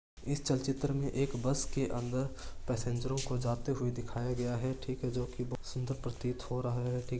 इस चल चित्र में एक बस के अंदर पैसेंजरो को जाते हुए दिखाया गया है ठीक है जो की बहुत सुन्दर प्रतीत हो रहा है ठीक --